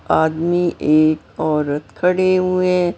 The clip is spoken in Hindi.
आदमी एक औरत खड़े हुए हैं।